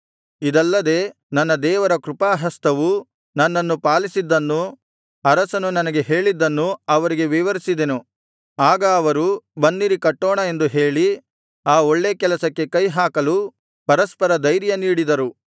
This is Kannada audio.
ಇದಲ್ಲದೆ ನನ್ನ ದೇವರ ಕೃಪಾಹಸ್ತವು ನನ್ನನ್ನು ಪಾಲಿಸಿದ್ದನ್ನೂ ಅರಸನು ನನಗೆ ಹೇಳಿದ್ದನ್ನೂ ಅವರಿಗೆ ವಿವರಿಸಿದೆನು ಆಗ ಅವರು ಬನ್ನಿರಿ ಕಟ್ಟೋಣ ಎಂದು ಹೇಳಿ ಆ ಒಳ್ಳೇ ಕೆಲಸಕ್ಕೆ ಕೈಹಾಕಲು ಪರಸ್ಪರ ಧೈರ್ಯ ನೀಡಿದರು